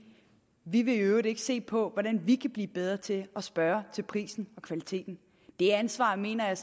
vi vil i øvrigt ikke se på hvordan vi kan blive bedre til at spørge til prisen og kvaliteten det ansvar mener jeg